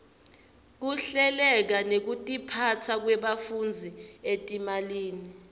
kuhleleka nekutiphasa kwebafundzi etimalini